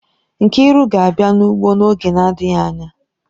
Nkriu ga-abia n'ugbo n'oge na-adịghị anya.